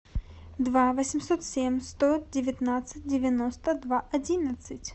два восемьсот семь сто девятнадцать девяносто два одиннадцать